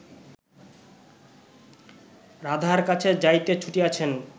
রাধার কাছে যাইতে ছুটিয়াছেন